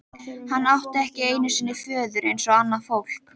Hann átti ekki einu sinni föður eins og annað fólk.